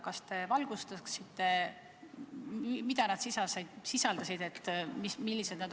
Kas te valgustaksite, mis küsimused need olid?